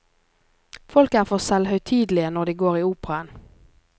Folk er for selvhøytidelige når de går i operaen.